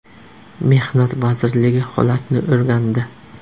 Mehnat vazirligi holatni o‘rgandi.